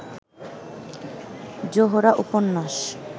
জোহরা উপন্যাস